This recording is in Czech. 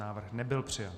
Návrh nebyl přijat.